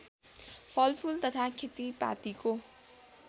फलफुल तथा खेतीपातीको